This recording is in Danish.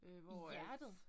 I hjertet?